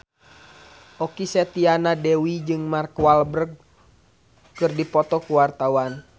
Okky Setiana Dewi jeung Mark Walberg keur dipoto ku wartawan